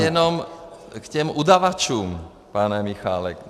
Já jenom k těm udavačům, pane Michálek.